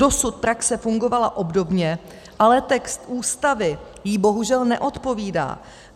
Dosud praxe fungovala obdobně, ale text Ústavy jí bohužel neodpovídá.